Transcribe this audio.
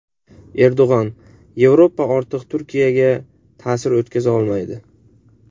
Erdo‘g‘on: Yevropa ortiq Turkiyaga ta’sir o‘tkaza olmaydi.